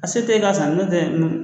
A se t'e ye k'a san nɔntɛ n